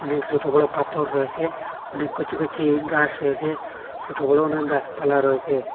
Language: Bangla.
অনেক ছোট বড় পাথর রয়েছে অনেক কচি কচি গাছ রয়েছে ছোট বড় অনেক গাছপালা রয়েছে।